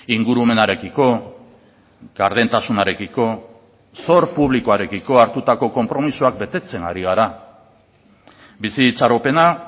ingurumenarekiko gardentasunarekiko zor publikoarekiko hartutako konpromisoak betetzen ari gara bizi itxaropena